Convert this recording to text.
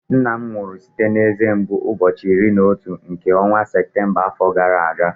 Nna m nwụrụ site na eze mgbu ụbọchị iri na otu nke ọnwa Septemba afọ gara aga